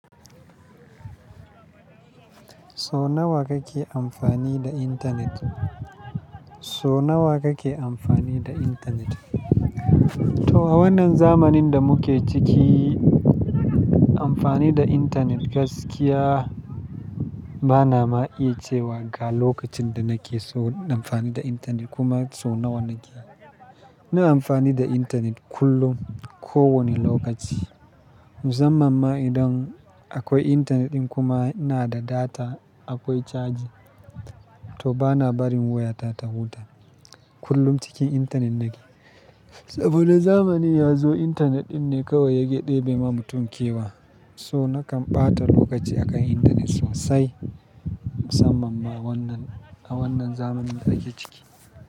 So nawa kake amfani da internet? So nawa kake amfani da internet? To a wannan zamanin da muke ciki, amfani da internet gaskiya bana ma'iya cewa ga lokacin da nake so na amfani da internet kuma so nawa nake. Ina amfani da internet kullum, kowane lokaci. Musamman ma idan akwai internet ɗin kuma ina da data, akwai chaji, to bana barin wayata ta huta. Kullum cikin internet nake. Saboda zamani ya zo, internet ɗin ne kawai yake ɗebe ma mutum kewa. So nakan ɓata lokaci a kan internet sosai, musamman ma wannan, a wannan zamanin da ake ciki.